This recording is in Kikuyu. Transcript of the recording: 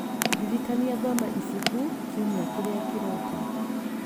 Ndirikania thome ibuku kiumia kĩrĩa kĩroka.